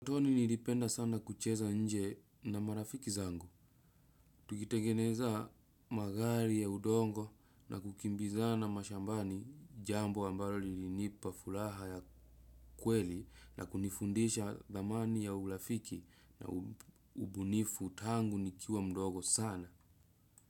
Utotoni nilipenda sana kucheza nje na marafiki zangu, tukitengeneza magari ya udongo na kukimbizana mashambani, jambo ambalo lilinipa furaha ya kweli na kunifundisha thamani ya urafiki na ubunifu tangu nikiwa mdogo sana.